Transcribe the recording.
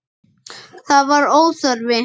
Það var óþarfi.